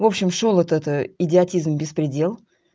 в общем шёл этот идиотизм беспредел